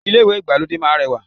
Ilé ìwé ìgbàlódé máá ń rẹwà